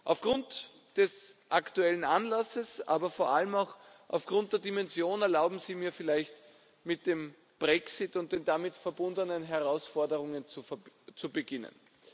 Aufgrund des aktuellen Anlasses, aber vor allem auch aufgrund der Dimension, erlauben Sie mir vielleicht, mit dem Brexit und den damit verbundenen Herausforderungen zu beginnen.